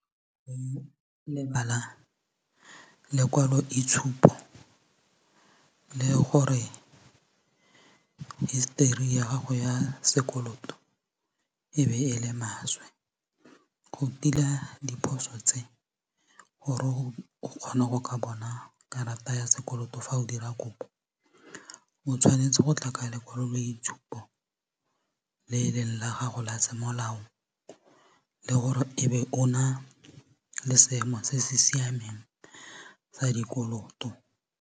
Go lebala lekwaloitshupo le gore hisetori ya gago ya sekoloto e be e le maswe go tila diphoso tse gore go kgone go ka bona karata ya sekoloto fa o dira kopo o tshwanetse go tla ka lekwaloitshupo le e leng la gago la semolao le gore e be o na le seemo se se siameng sa dikoloto.